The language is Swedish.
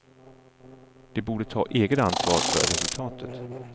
De borde ta eget ansvar för resultatet.